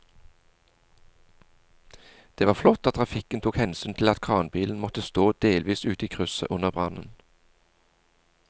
Det var flott at trafikken tok hensyn til at kranbilen måtte stå delvis ute i krysset under brannen.